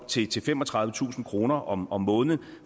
til til femogtredivetusind kroner om om måneden